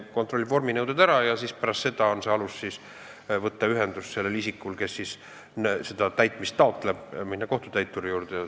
Kohus kontrollib vorminõuete täitmise ära ja pärast seda on isikul, kes seda otsuse täitmist taotleb, alus minna kohtutäituri juurde.